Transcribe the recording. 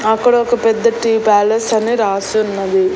అక్కడ ఒక పెద్ద టీ ప్యాలెస్ అని రాసి ఉన్నది.